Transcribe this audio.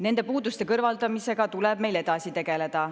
Nende puuduste kõrvaldamisega tuleb meil edasi tegeleda.